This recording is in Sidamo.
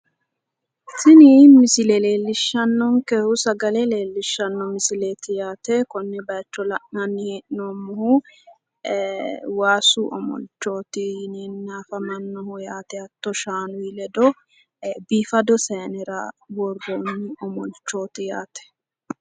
Tini misile leellishshannonkehu sagale leellishshanno misileti yaate. Konne bayicho la'nanni hee'noommohu waasu omolchooti yineenna afamamannoho yaate. Hatto shaanuyi ledo biifado saayinera worroonna omolchooti yaate.